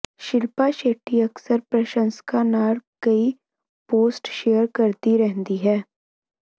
ਸ਼ਿਲਪਾ ਸ਼ੈੱਟੀ ਅਕਸਰ ਪ੍ਰਸ਼ੰਸਕਾਂ ਨਾਲ ਕਈ ਪੋਸਟ ਸ਼ੇਅਰ ਕਰਦੀ ਰਹਿੰਦੀ ਹੈ